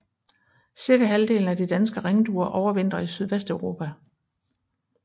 Cirka halvdelen af de danske ringduer overvintrer i Sydvesteuropa